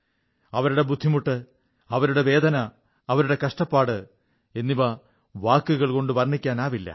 അവരുടെ ബുദ്ധിമുട്ട് അവരുടെ വേദന അവരുടെ കഷ്ടപ്പാട് എന്നിവ വാക്കുകൾ കൊണ്ട് വർണ്ണിക്കാനാവില്ല